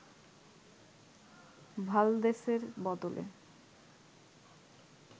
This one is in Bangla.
ভালদেসের বদলে